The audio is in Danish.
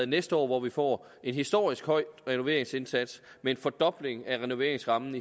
næste år hvor vi får en historisk høj renoveringsindsats med en fordobling af renoveringsrammen